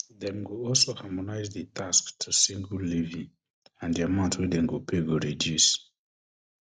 dem go also harmonise di tax to single levy and di amount wey dem go pay go reduce